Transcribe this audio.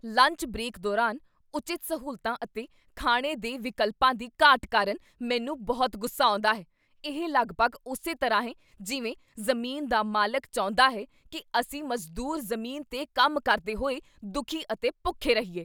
Lunch break ਦੌਰਾਨ ਉਚਿਤ ਸਹੂਲਤਾਂ ਅਤੇ ਖਾਣੇ ਦੇ ਵਿਕਲਪਾਂ ਦੀ ਘਾਟ ਕਾਰਨ ਮੈਨੂੰ ਬਹੁਤ ਗੁੱਸਾ ਆਉਂਦਾ ਹੈ। ਇਹ ਲਗਭਗ ਉਸੇ ਤਰ੍ਹਾਂ ਹੈ ਜਿਵੇਂ ਜ਼ਮੀਨ ਦਾ ਮਾਲਕ ਚਾਹੁੰਦਾ ਹੈ ਕੀ ਅਸੀਂ ਮਜ਼ਦੂਰ ਜ਼ਮੀਨ 'ਤੇ ਕੰਮ ਕਰਦੇ ਹੋਏ ਦੁਖੀ ਅਤੇ ਭੁੱਖੇ ਰਹੀਏ।